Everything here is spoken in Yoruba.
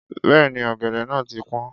Bẹ́ẹ̀ni, ọ̀gẹ̀dẹ̀ náà ti pọ́n.